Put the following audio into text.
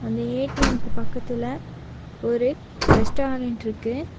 அந்த ஏ_டி_எம்க்கு பக்கத்துல ஒரு ரெஸ்டாரன்ட்ருக்கு .